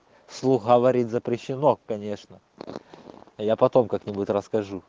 в слух говорить запрещено конечно я потом как-нибудь расскажу